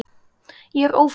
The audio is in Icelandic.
Ég er ófrísk!